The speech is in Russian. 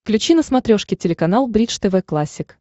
включи на смотрешке телеканал бридж тв классик